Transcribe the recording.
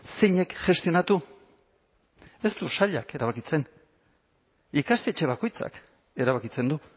zeinek gestionatu ez du sailak erabakitzen ikastetxe bakoitzak erabakitzen du